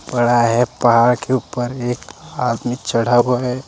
बड़ा है पहाड़ के ऊपर एक आदमी चढ़ा हुआ है।